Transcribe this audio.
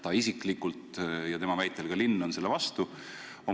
Ta isiklikult ja tema väitel ka linn on selle vastu.